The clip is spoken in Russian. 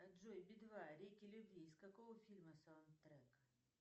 джой би два реки любви из какого фильма саундтрек